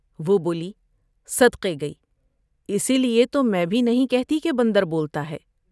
وہ بولی صدقے گئی ، اس لیے تو میں بھی نہیں کہتی کہ بندر بولتا ہے ۔